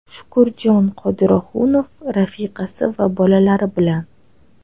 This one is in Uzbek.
Shukurjon Qodirohunov rafiqasi va bolalari bilan.